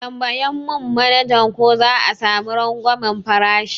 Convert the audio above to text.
Ka tambaya mun manaja ko za'a sami rangwamen farashi